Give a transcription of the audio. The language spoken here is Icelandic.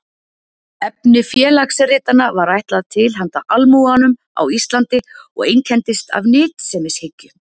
efni félagsritanna var ætlað „til handa almúganum á íslandi“ og einkenndist af nytsemishyggju